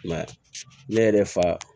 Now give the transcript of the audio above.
I m'a ye ne yɛrɛ fa